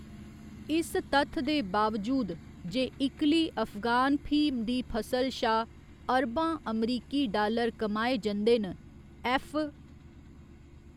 इस तत्थ दे बावजूद जे इकल्ली अफगान फ्हीम दी फसल शा अरबां अमरीकी डालर कमाए जंदे न, ऐफ्फ.